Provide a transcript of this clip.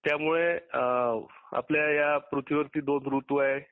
त्यामुळे आपल्या या पृथ्वीरती दोन रुतु आहेत.